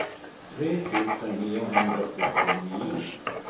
tre tusen niohundrasjuttionio